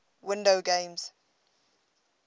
windows games